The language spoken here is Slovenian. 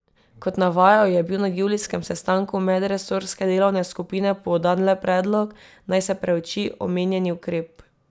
Kot navajajo, je bil na julijskem sestanku medresorske delovne skupine podan le predlog, naj se preuči omenjeni ukrep.